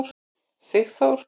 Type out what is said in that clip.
Sigþór